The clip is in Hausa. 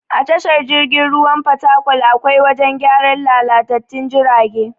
A tashar jirgin ruwan fatakwal akwai wajen gyaran lalatattun jirage.